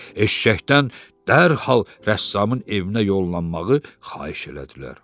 Eşşəkdən dərhal rəssamın evinə yollanmağı xahiş elədilər.